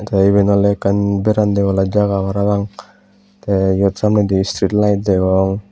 te iben ole ekkan bernanne bola jaga parapang the ibet samnedi street light degong.